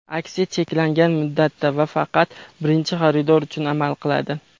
Aksiya cheklangan muddatda va faqat birinchi xaridor uchun amal qiladi.